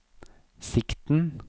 sikten